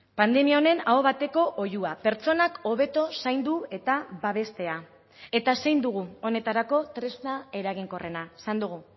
pandemia honen aho bateko oihua pertsonak hobeto zaindu eta babestea eta zein dugu honetarako tresna eraginkorrena esan dugu